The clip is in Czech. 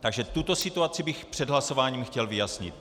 Takže tuto situaci bych před hlasováním chtěl vyjasnit.